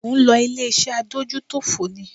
Ò ń lọ ilé-iṣẹ́ Adójútòfò ni?